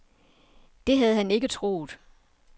Det havde han ikke troet.